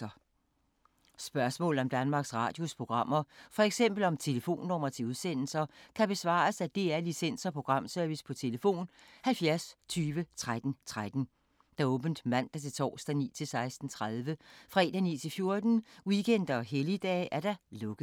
Spørgsmål om Danmarks Radios programmer, f.eks. om telefonnumre til udsendelser, kan besvares af DR Licens- og Programservice: tlf. 70 20 13 13, åbent mandag-torsdag 9.00-16.30, fredag 9.00-14.00, weekender og helligdage: lukket.